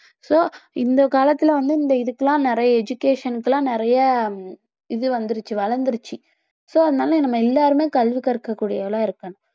so இந்த காலத்துல வந்து இந்த இதுக்கெல்லாம் நிறைய education க்குலாம் நிறைய இது வந்துருச்சு வளர்ந்துடுச்சு so அதனால நம்ம எல்லாருமே கல்வி கற்க கூடியவங்களா இருக்கணும்